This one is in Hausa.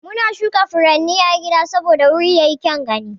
Muna shuka furanni a gida saboda wuri yayi kyaun gani.